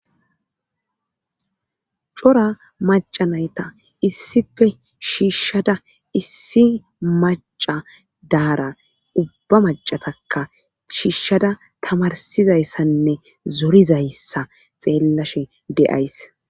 cora macanayta issife shiishshada issi maca daara ubba macataka shiishshada tamarsizayssanne zorizayssa xeellashe de7ays